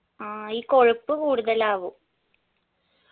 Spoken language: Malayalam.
ആ ഈ കൊഴുപ്പ് കൂടുതലാവും